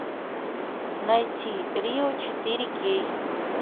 найти рио четыре кей